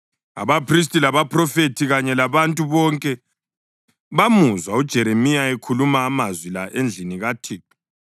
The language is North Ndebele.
Abaphristi, labaphrofethi kanye labantu bonke bamuzwa uJeremiya ekhuluma amazwi la endlini kaThixo.